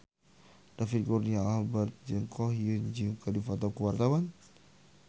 David Kurnia Albert jeung Ko Hyun Jung keur dipoto ku wartawan